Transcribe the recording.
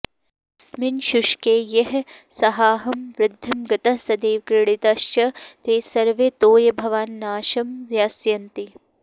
अस्मिन् शुष्के यैः सहाहं वृद्धिं गतः सदैव क्रीडितश्च ते सर्वे तोयाभावान्नाशं यास्यन्ति